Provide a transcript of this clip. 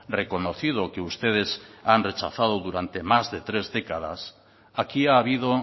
reconocido que ustedes han rechazado durante más de tres décadas aquí ha habido